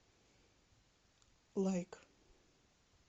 лайк